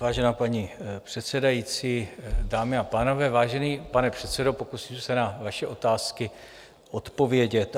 Vážená paní předsedající, dámy a pánové, vážený pane předsedo, pokusím se na vaše otázky odpovědět.